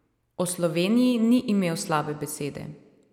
O Sloveniji ni imel slabe besede.